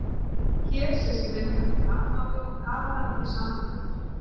Hér sést mynd af hvalháfi og kafara til samanburðar.